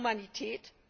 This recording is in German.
Ist das Humanität?